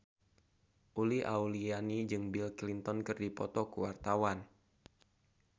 Uli Auliani jeung Bill Clinton keur dipoto ku wartawan